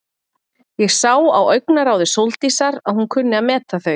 Ég sá á augnaráði Sóldísar að hún kunni að meta þau.